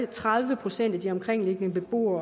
tredive procent af de omkringboende beboere